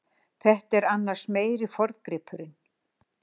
Þetta er annars meiri forngripurinn.